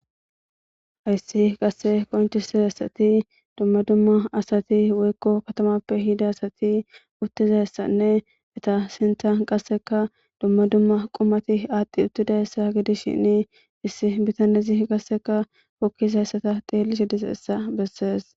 Hayisi qasse qonicisidayisi duma duma asati katamape yidda asati utizayisane eta sinithan qasseka duma duma qumati utidayisa gidishini issi bitanezi hokidayisa qasse xelishe dizayisa besesi